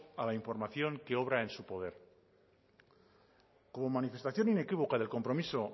a la información que obra en su poder como manifestación inequívoca del compromiso